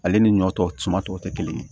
Ale ni ɲɔ tɔw citɔ te kelen ye